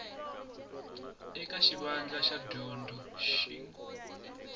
eka xivandla xa dyondzo xin